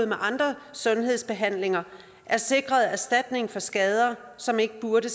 ved andre sundhedsbehandlinger er sikret erstatning for skader som ikke burde